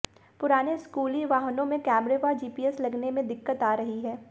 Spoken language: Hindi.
पुराने स्कूली वाहनों में कैमरे व जीपीएस लगने में दिक्कत आ रही है